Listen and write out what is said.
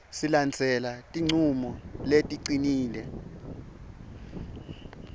silandzele tincumo leticinile